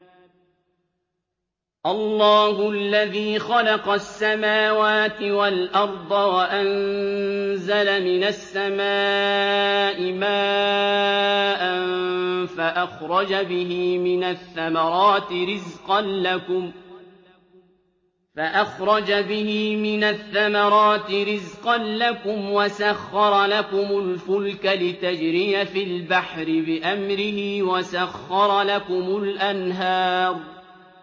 اللَّهُ الَّذِي خَلَقَ السَّمَاوَاتِ وَالْأَرْضَ وَأَنزَلَ مِنَ السَّمَاءِ مَاءً فَأَخْرَجَ بِهِ مِنَ الثَّمَرَاتِ رِزْقًا لَّكُمْ ۖ وَسَخَّرَ لَكُمُ الْفُلْكَ لِتَجْرِيَ فِي الْبَحْرِ بِأَمْرِهِ ۖ وَسَخَّرَ لَكُمُ الْأَنْهَارَ